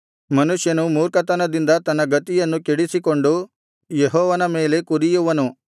ಮನುಷ್ಯನು ಮೂರ್ಖತನದಿಂದ ತನ್ನ ಗತಿಯನ್ನು ಕೆಡಿಸಿಕೊಂಡು ಯೆಹೋವನ ಮೇಲೆ ಕುದಿಯುವನು